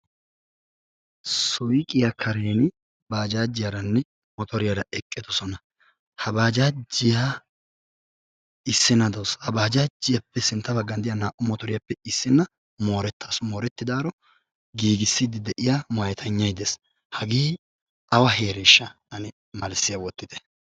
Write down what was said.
suyqqiyaa karen bajjajiyaaranne motoriyaara eqqidoosona. ha baajjajiyaa sintta baggan de'iyaa naa''u motoriyaappe issina moretawus, ha moretidaaro giigissidi moyatenyaay dees. hage awa heereshsha ane malissiyaa wottite.